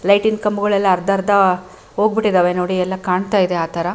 ಲೈಟಿನ ಕಂಬಗಳೆಲ್ಲ ಅರ್ಧ ಅರ್ಧ ಹೋಗ್ಬಿಟ್ಟಿದ್ದಾವೆ ನೋಡಿ ಎಲ್ಲ ಕಾಣ್ತಾಯಿದೆ ಆತರ --